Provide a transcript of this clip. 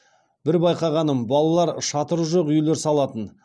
бір байқағаным балалар шатыры жоқ үйлер салатын